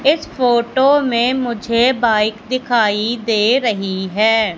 इस फोटो में मुझे बाइक दिखाई दे रही है।